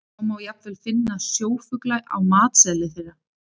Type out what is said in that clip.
Svo má jafnvel finna sjófugla á matseðli þeirra.